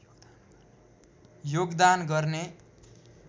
योगदान गर्ने